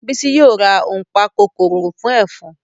Bísí yóò ra ònpakòkòrò fún ẹ̀fọn